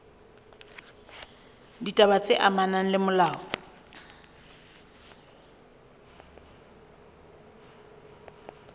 ditaba tse amanang le molao